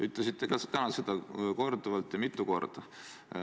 Ütlesite ka täna seda korduvalt, mitu korda.